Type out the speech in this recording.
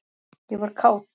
ég var kát.